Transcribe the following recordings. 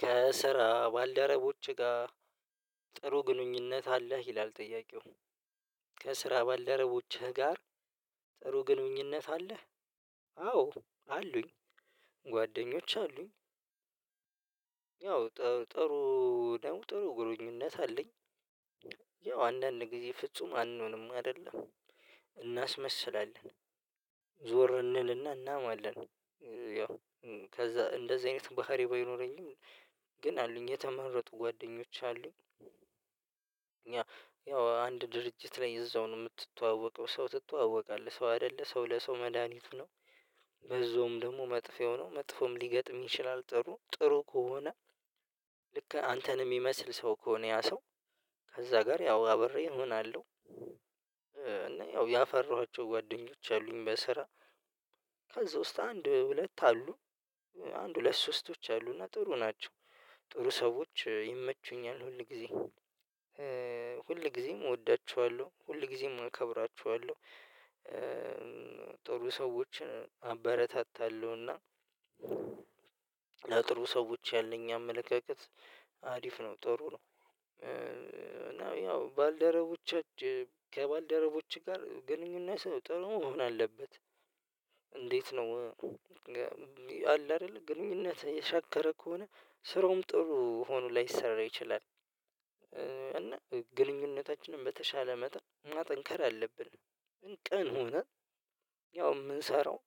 ከስራ ባልደረቦች ጋር ጥሩ ግንኙነት አለህ ይላል ጥያቄው? ከስራ ባልደረቦችህ ጋር ጥሩ ግንኙነት አለህ? አዎ አሉኝ ጓደኞች አሉኝ። ያው ጥሩ ደግሞ ጥሩ ግንኙነት አለኝ። ያው አንዳንድ ጊዜ ፍጹም አንሆንም አይደለ እናስመስላለን። ዞር እንልና እናማለን ያው ከዛ እንደዚህ አይነት ባህሪ ባይኖረኝም ግን አሉኝ የተመረጡ ጓደኞች አሉኝ። ያው አንድ ድርጅት ላይ እዛው ነው የምትተዋወቀው ሰው ትተዋወቃለህ ሰው አይደለ ሰው ለሰው መድሃኒቱ ነው። በዛውም ደግሞ መጥፊያው ነው መጥፎም ሊገጥምህ ይችላል ጥሩ ጥሩ ከሆነ። ልክ አንተን የሚመስል ሰው ከሆነ ያ ሰው ከዛ ጋር ያው አብሬ እሆናለሁ። እና ያፈራኋቸው ጓደኞች አሉኝ በስራ ከዛ ውስጥ አንድ ሁለት አሉ አንድ ሁለት ሶስቶች አሉና ጥሩ ናቸው። ጥሩ ሰዎች ይመቹኛል ሁል ጊዜ ሁል ጊዜም እወዳችኋለሁ ሁል ጊዜም አከብራቸዋለሁ። ጥሩ ሰዎችን አበረታታለሁና ለጥሩ ሰዎች ያለኝ አመለካከት አሪፍ ነው ጥሩ ነው። እና ያው ባልደረቦቻች ከባልደረቦች ጋር ግንኙነት ጥሩ መሆን አለበት። እንዴት ነው? አለ አይደለ ግንኙነት የሻከረ ከሆነ ስራውም ጥሩ ሆኖ ላይሰራ ይችላል። እና ግንኙነታችንን በተሻለ መጠን ማጠንከር አለብን። ቀን ሆነ ያው የምንሰራው።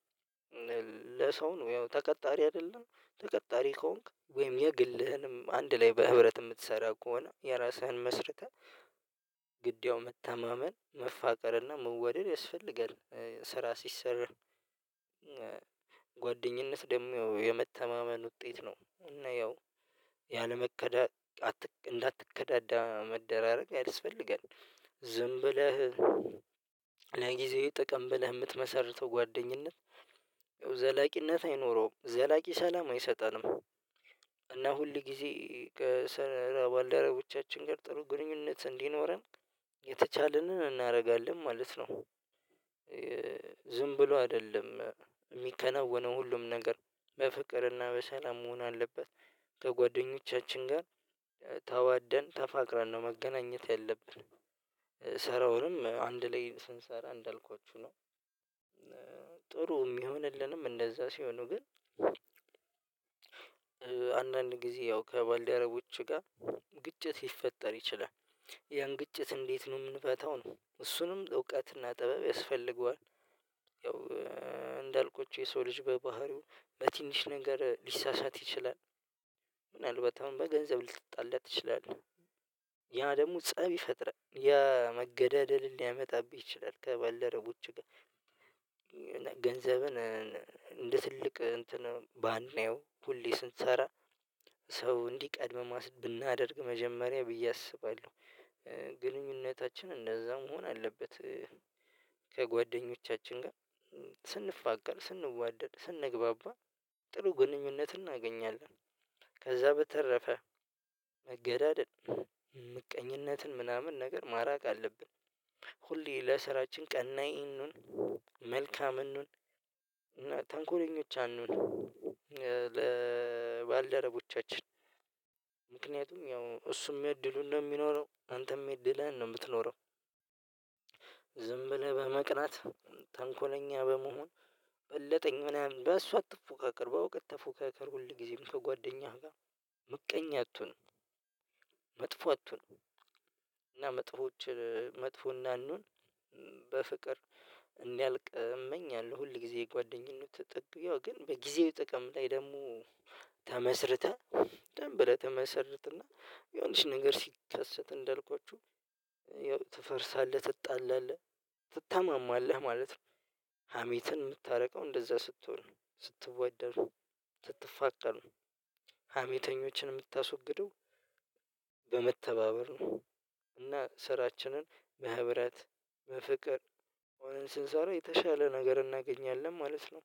ለሰው ነው ያው ተቀጣሪ አይደለን ተቀጣሪ ከሆንክ ወይም የግልህንም አንድ ላይ በህብረት የምትሰራ ከሆነ የራስህን መስርተህ ግድያው መተማመን መፋቀርና መዋደድ ያስፈልጋል። ስራ ሲሰራ ጓደኝነት ደግሞ የመተማመን ውጤት ነው። እና ያው ያለመከዳ እንዳትከዳዳ መደራረግ ያስፈልገን ዝም ብለህ ለጊዜያዊ ጥቅም ብለህ የምትመሰርተው ጓደኝነት ዘላቂነት አይኖረውም ዘላቂ ሰላም አይሰጠንም። እና ሁል ጊዜ ከስራ ባልደረቦቻችን ጋር ጥሩ ግንኙነት እንዲኖረን የተቻለንን እናደርጋለን ማለት ነው። ዝምብሎ አይደለም የሚከናወነው ሁሉም ነገር በፍቅርና በሰላም መሆን አለበት። ከጓደኞቻችን ጋር ተዋደን ተፋቅረን ነው መገናኘት ያለብን አንድ ላይ ስንሰራ እንዳልኳችሁ ነው። ጥሩ የሚሆንልንም እንደዛ ሲሆኑ ግን አንዳንድ ጊዜ ያው ከባልደረቦች ጋር ግጭት ይፈጠር ይችላል። ያን ግጭት እንዴት ነው የምንፈታው ነው እሱንም እውቀትና ጥበብ ያስፈልገዋል። ያው እንዳልኩት የሰው ልጅ በባህሪው በትንሽ ነገር ሊሳሳት ይችላል። ምናልባት አሁን በገንዘብ ልትጣላ ትችላለህ። ያ ደግሞ ፀብ ይፈጥራል ያ መገዳደልን ሊያመጣብህ ይችላል። ከባልደረቦቹህ ጋር ገንዘብን እንድትልቅ እንትን ባናየው ሁሌ ስንሰራ ሰው እንዲቀድም ማስ ብናደርግ መጀመሪያ ብዬ አስባለሁ። ግንኙነታችን እንደዛ መሆን አለበት። ከጓደኞቻችን ጋር ስንፋቀር ስንዋደድ ስንግባባ ጥሩ ግንኙነት እናገኛለን። በተረፈ መገዳደል ምቀኝነትን ምናምን ነገር ማራቅ አለብን። ሁሌ ለስራችን ቀናኢ እንሁን መልካም እንሁን እና ተንኮለኞች አንሁን። ለባልደረቦቻችን ምክንያቱም ያው እሱም የድሉን ነው እሚኖረው አንተም የእድልህን ነው የምትኖረው። ዝም ብለህ በመቅናት ተንኮለኛ በመሆን በለጠኝ ምናምን በሱ አትፎካከር በእዉቀት ተፎካከር ሁል ጊዜም ከጓደኛህ ጋር ምቀኛ አትሁን። መጥፎ አትሁን። እና መጥፎዎችን መጥፎ እንዳንሆን በፍቅር እንዲያልቅ እመኛለሁ። ሁል ጊዜ የጓደኝነት ጥግ ያው ግን በጊዜያዊ ጥቅም ላይ ደግሞ ተመስርተህ ዝም ብለህ ተመሰርትና የሆነች ነገር ሲከሰት እንዳልኳችሁ ያው ትፈርሳለህ ትጣላለህ ትታመማማለህ ማለት ነው። ሀሜትን የምታርቀው እንደዛ ስትሆን ስትዋደዱ ስትፋቀሩ ሀሜተኞችን የምታስወግደው በመተባበር ነው። እና ስራችንን በህብረት በፍቅር ሆነን ስንሰራ የተሻለ ነገር እናገኛለን ማለት ነው።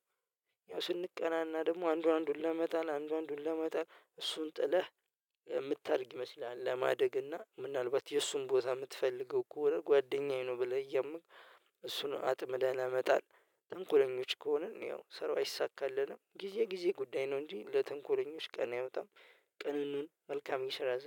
ያው ስንቀናና ደግሞ አንዱ አነዱን ለመጣል አንዱ አንዱን ለመጣል እሱን ጥለህ የምታድግ ይመስላል ለማደግ እና ምናልባት የእሱን ቦታ የምትፈልገው ከሆነ ጓደኛዬ ነው ብለህ እያመንክ እሱን አጥምደህ ለመጣል ትንኩለኞች ከሆነን ያው ሰራው አይሳካለንም ጊዜ ጊዜ ጉዳይ ነው እንጂ ለትንኮለኞች ቀን አይወጣም። ቅን እንሁን መልካም የስራ ዘ